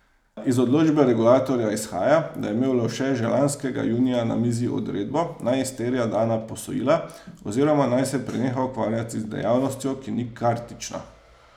Iz odločbe regulatorja izhaja, da je imel Lovše že lanskega junija na mizi odredbo, naj izterja dana posojila oziroma naj se preneha ukvarjati z dejavnostjo, ki ni kartična.